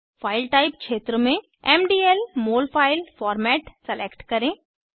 file type क्षेत्र में MDL mol file format select करें